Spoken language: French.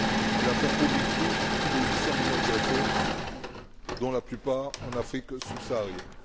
Et la faim chronique touche plus de 800 millions de personnes, dont la plupart en Afrique subsaharienne.